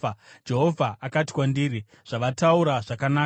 Jehovha akati kwandiri, “Zvavataura zvakanaka.